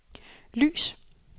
lys